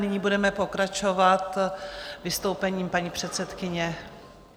Nyní budeme pokračovat vystoupením paní předsedkyně.